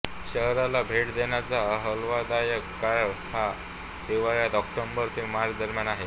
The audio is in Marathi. शहराला भेट देण्याचा आल्हाददायक काळ हा हिवाळ्यात ऑक्टोबर ते मार्च दरम्यान आहे